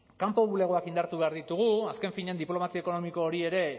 kanpo bulegoak indartu behar ditugu azken finean diplomazia ekonomiko hori ere